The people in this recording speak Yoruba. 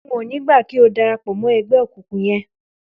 N ò ní gbà kí o darapò̩ mó̩ e̩gbé̩ òkùnkùn ye̩n!